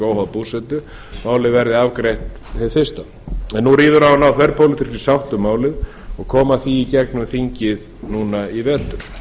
óháð búsetu og málið verði afgreitt hið fyrsta en nú ríður á að þverpólitískri sátt um málið og koma því í gegnum þingið núna í vetur